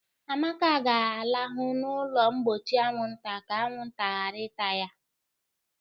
Amaka ga-alahụ n'ụlọ mgbochi anwụnta ka anwụnta ghara ịta ya.